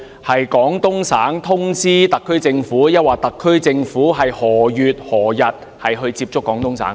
是廣東省政府通知特區政府，還是特區政府在何月何日接觸廣東省政府？